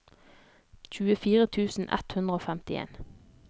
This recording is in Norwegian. tjuefire tusen ett hundre og femtien